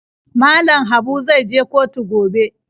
Mallam Habu zai je kotu gobe ne?